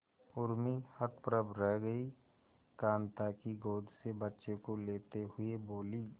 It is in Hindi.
उर्मी हतप्रभ रह गई कांता की गोद से बच्चे को लेते हुए बोली